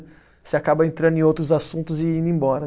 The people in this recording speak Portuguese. Você acaba entrando em outros assuntos e indo embora.